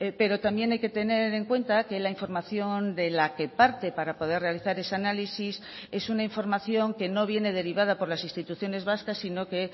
pero también hay que tener en cuenta que la información de la que parte para poder realizar ese análisis es una información que no viene derivada por las instituciones vascas sino que